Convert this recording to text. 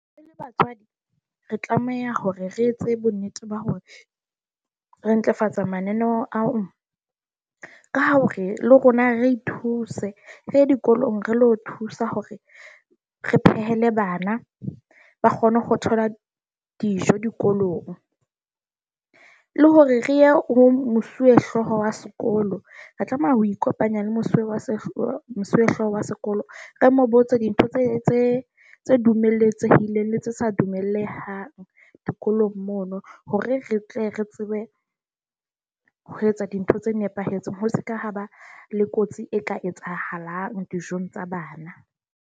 E le batswadi, re tlameha hore re etse bonnete ba hore re ntlafatsa mananeo ao, ka ha o re le rona re thuse re dikolong re lo thusa hore re phehele bana ba kgone ho thola dijo dikolong, le hore re ye ho mosuwehlooho wa sekolo. Re tlameha ho ikopanya le Mosiuwa mosuwehlooho wa sekolo. Re mo botse dintho tse tse dumelletsweng le tse sa dumellehang dikolong mono. Hore re tle re tsebe ho etsa dintho tse nepahetseng, ho se ka ha ba le kotsi e ka etsahalang dijong tsa bana.